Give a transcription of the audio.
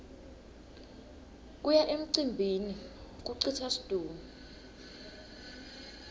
kuya emcimbini kucitsa situnge